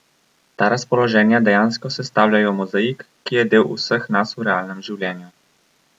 Ta razpoloženja dejansko sestavljajo mozaik, ki je del vseh nas v realnem življenju.